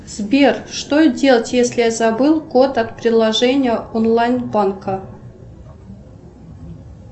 сбер что делать если я забыл код от приложения онлайн банка